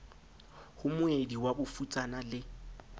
ho moedi wa bofutsana le